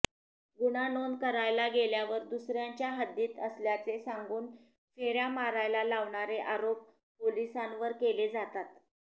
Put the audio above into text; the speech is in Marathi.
गुन्हा नोंद करायला गेल्यावर दुसऱ्याच्या हद्दीत असल्याचे सांगून फेऱ्या मारायला लावणारे आरोप पोलिसांवर केले जातात